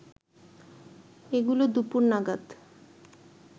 এগুলো দুপুর নাগাদ